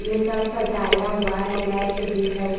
ये सब सजाया हुआ है लाइट भी है।